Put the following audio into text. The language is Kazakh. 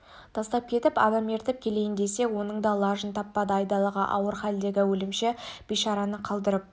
тастап кетіп адам ертіп келейін десе оның да лажын таппады айдалаға ауыр халдегі өлімші бейшараны қалдырып